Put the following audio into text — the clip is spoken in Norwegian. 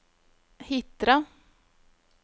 Hitra